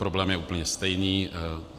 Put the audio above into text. Problém je úplně stejný.